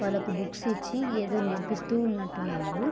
వాళ్ళకి బుక్స్ ఇచ్చి ఏదో నేర్పిస్తునట్టు ఉన్నారు.